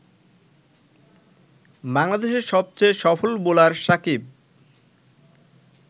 বাংলাদেশের সবচেয়ে সফল বোলার সাকিব